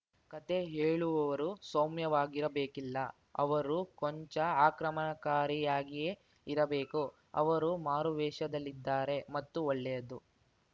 ಕತೆ ಹೇಳುವವರು ಸೌಮ್ಯವಾಗಿರಬೇಕಿಲ್ಲ ಅವರು ಕೊಂಚ ಆಕ್ರಮಣಕಾರಿಯಾಗಿಯೇ ಇರಬೇಕು ಅವರು ಮಾರುವೇಷದಲ್ಲಿದ್ದಾರೆ ಮತ್ತೂ ಒಳ್ಳೆಯದು